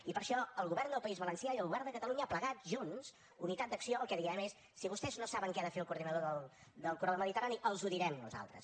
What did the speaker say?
i per això el govern del país valencià i el govern de catalunya plegats junts unitat d’acció el que diem és si vostès no saben què ha de fer el coordinador del corredor mediterrani els ho direm nosaltres